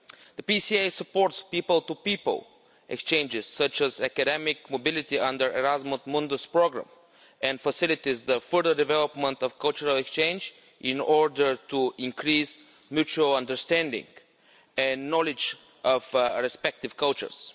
The PCA supports people to people exchanges, including academic mobility under the Erasmus Mundus programme, and facilitates the further development of cultural exchange in order to increase mutual understanding and knowledge of our respective cultures.